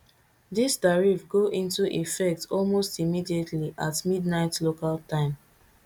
dis tariff go into effect almost immediately at midnight local time